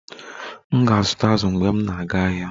M ga-azụta azụ mgbe m na-aga ahịa